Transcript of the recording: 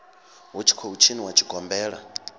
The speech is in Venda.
hu tshi khou tshiniwa tshigombela